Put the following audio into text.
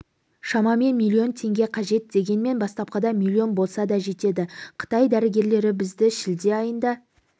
шамамен миллион теңге қажет дегенмен бастапқыда миллион болса да жетеді қытай дәрігерлері бізді шілде айында